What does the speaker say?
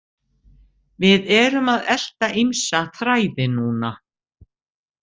Við erum að elta ýmsa þræði núna.